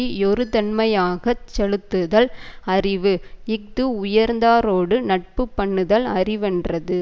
யொருதன்மையாக செலுத்துதல் அறிவு இஃது உயர்ந்தாரோடு நட்பு பண்ணுதலும் அறிவென்றது